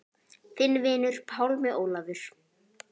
Þinn vinur, Pálmi Ólafur.